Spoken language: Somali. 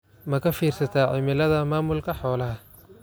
Ma ka fiirsataa cimilada maamulka xoolaha?